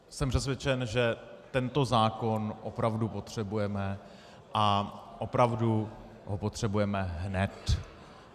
Jsem přesvědčen, že tento zákon opravdu potřebujeme a opravdu ho potřebujeme hned.